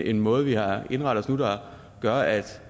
en måde vi har indrettet os nu der gør at